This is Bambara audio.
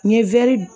N ye wɛri